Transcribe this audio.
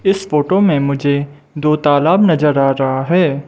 इस फोटो में मुझे दो तालाब नज़र आ रहा है।